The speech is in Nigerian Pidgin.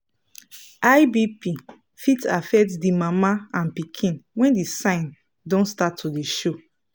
high bp fit affect the mama and pikin when the sign don start to dey show